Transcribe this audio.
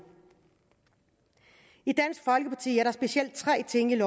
i dansk folkeparti er der specielt tre ting i